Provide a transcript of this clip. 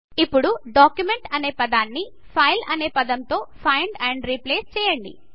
ఇప్పుడు డాక్యుమెంట్ అనే పదాన్నిfile అనే పదం తో ఫైండ్ ఆండ్ రిప్లేస్ చేయండి